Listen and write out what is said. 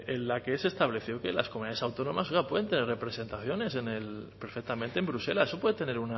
en la que se estableció que las comunidades autónomas oiga pueden tener representaciones perfectamente en bruselas eso puede tener